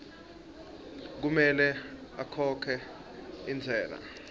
kumele akhokhe intsela